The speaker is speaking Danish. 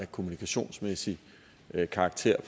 kommunikationsmæssig karakter i